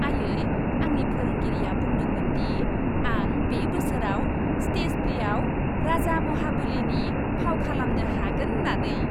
आइयै, आंनि फोरोंगिरिया बुंदोंमोन दि आं बे बोसोराव स्टेज प्लेआव राजा महाबलिनि फाव खालामनो हागोन होन्नानै।